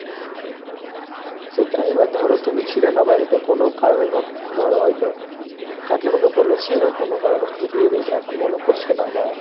সেটা এবার ধরো তুমি ছিলে না বাড়িতে কোনো কারণে ধরো হয়তো কাকিমাকে বলেছে ও কোনো কারণে হয়তো দিয়ে দিয়েছে এখন মনে পড়ছে না বা